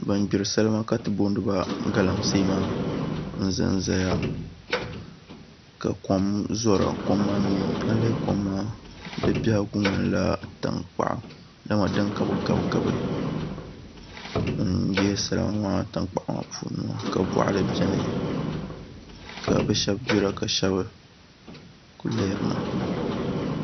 Bin gbiri salima ka ti booni ba galamsee maa n ʒɛnʒɛya ka kom doya kom maa biɛhigu ŋmanila tankpaɣu dama din ka bi gabigabi n gbiri salima maa tankpaɣu maa puuni boɣali maa puuni ka bi shab gbira ka bi shab ku lihira